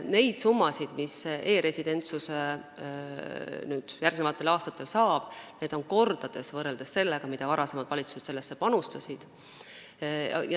Need summad, mis e-residentsus järgmistel aastatel saab, on mitu korda suuremad, võrreldes sellega, mida varasemad valitsused panustasid.